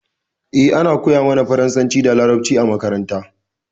Eh, ana koya mana faransa da laraɓci a maƙaranta.